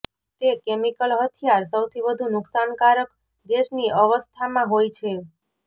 તે કેમિકલ હથિયાર સૌથી વધુ નુકસાનકારક ગેસની અવસ્થામાં હોય છે